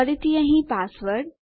ફરીથી અહીં પાસવર્ડ